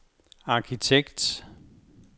arkitekt